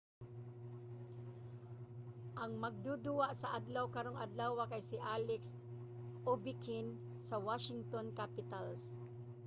ang magduduwa sa adlaw karong adlawa kay si alex ovechkin sa washington capitals